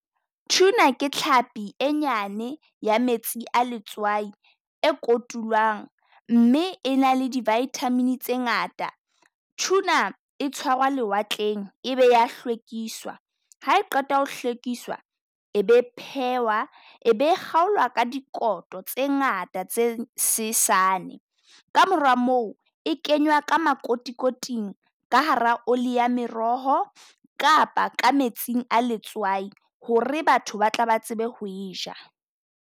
Tuner ke tlhapi e nyane ya metsi a letswai e kotulwang, mme e na le di vitamin tse ngata. Tuner e tshwarwa lewatleng ebe ya hlwekiswa, ha e qeta ho hlwekiswa e be phehwa, e be kgaolwa ka dikoto tse ngata tse sesane. Ka mora moo e kenywa ka makotikoting ka hara oli ya meroho kapa ka metsing a letswai ho re batho ba tla ba tsebe ho e ja.